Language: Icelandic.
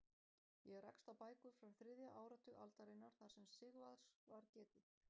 Ég rakst á bækur frá þriðja áratug aldarinnar þar sem Sigvarðs var getið.